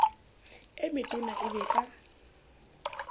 e metona e be ka